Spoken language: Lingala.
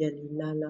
ya lilala.